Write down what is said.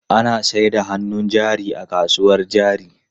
Ana sayar da hannun jari a kasuwar jari.